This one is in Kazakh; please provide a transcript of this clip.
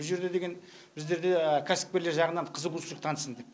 бұ жерде деген біздерде кәсіпкерлер жағынан қызығушылық танытсын деп